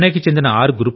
చెన్నైకి చెందిన ఆర్